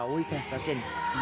í þetta sinn